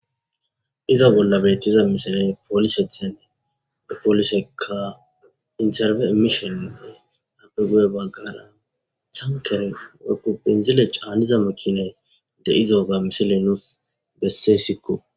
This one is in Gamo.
Iza bolla bettiza misiley poolise thenne de poolisekka interbe emishonine apeguye baggara cankere wekku pinzile caaniza makiney de izoga misile nuus besse sikko.